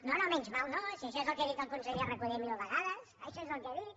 no no menys mal no si això és el que ha dit el conseller recoder mil vegades això és el que ha dit